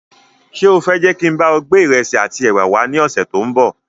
Ṣé o fẹ je kín bá ọ gbé ìrẹsì àti ẹwà wá ní ọ̀sẹ̀ tòun bọ̀?